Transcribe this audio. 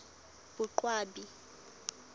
boqwabi